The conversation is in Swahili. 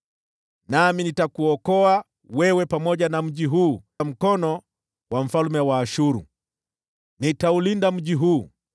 Nami nitakuokoa wewe pamoja na mji huu mkononi mwa mfalme wa Ashuru. Nitaulinda mji huu.